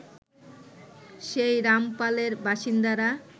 সেই রামপালের বাসিন্দারা